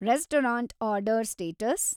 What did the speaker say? restaurant order status